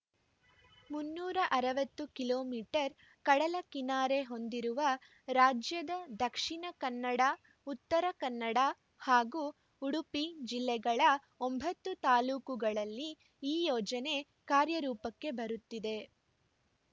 ಮುನ್ನೂರ ಅರವತ್ತು kilometre ಕಡಲ ಕಿನಾರೆ ಹೊಂದಿರುವ ರಾಜ್ಯದ ದಕ್ಷಿಣ ಕನ್ನಡ ಉತ್ತರ ಕನ್ನಡ ಹಾಗೂ ಉಡುಪಿ ಜಿಲ್ಲೆಗಳ ಒಂಬತ್ತು ತಾಲೂಕುಗಳಲ್ಲಿ ಈ ಯೋಜನೆ ಕಾರ್ಯರೂಪಕ್ಕೆ ಬರುತ್ತಿದೆ